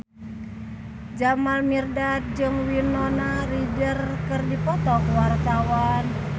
Jamal Mirdad jeung Winona Ryder keur dipoto ku wartawan